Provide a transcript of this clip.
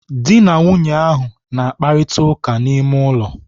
Dị na nwunye ahụ na-akparita ụka n'ime ụlọ.